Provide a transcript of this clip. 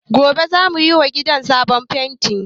Gobe za mu yi wa gidan sabon fenti